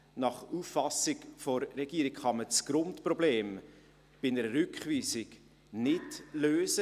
Nach Auffassung der Regierung kann man das Grundproblem bei einer Rückweisung nicht lösen.